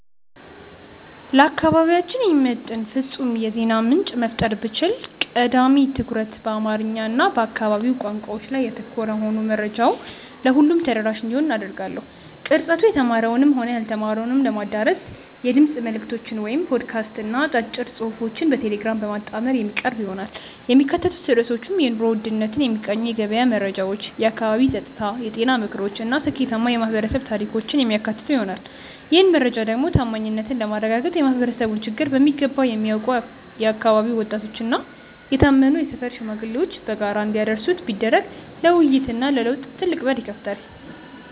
ለአካባቢያችን የሚመጥን ፍጹም የዜና ምንጭ መፍጠር ብችል፣ ቀዳሚ ትኩረቱ በአማርኛ እና በአካባቢው ቋንቋዎች ላይ ያተኮረ ሆኖ መረጃው ለሁሉም ተደራሽ እንዲሆን አደርጋለሁ። ቅርጸቱ የተማረውንም ሆነ ያልተማረውን ለማዳረስ የድምፅ መልዕክቶችን (ፖድካስት) እና አጫጭር ጽሑፎችን በቴሌግራም በማጣመር የሚቀርብ ይሆናል። የሚካተቱት ርዕሶችም የኑሮ ውድነትን የሚቃኙ የገበያ መረጃዎች፣ የአካባቢ ጸጥታ፣ የጤና ምክሮች እና ስኬታማ የማኅበረሰብ ታሪኮችን የሚያካትቱ ይሆናል። ይህን መረጃ ደግሞ ታማኝነትን ለማረጋገጥ የማኅበረሰቡን ችግር በሚገባ የሚያውቁ የአካባቢው ወጣቶችና የታመኑ የሰፈር ሽማግሌዎች በጋራ እንዲያደርሱት ቢደረግ ለውይይትና ለለውጥ ትልቅ በር ይከፍታል።